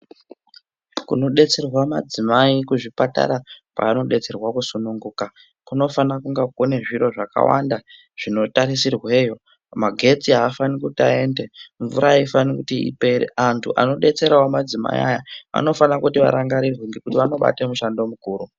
Kunodetserwa madzimai kuzvipatara, kwanodetserwa kusununguka kunofana kunge kunezviro zvakawanda zvinotarisirweyo. Magetsi afani kuti ayende. Mvura aifani kuti ipere antu anodetserawo madzimai aya vanofane kuti varangarirwe ngekuti vanobate mushando mukuru.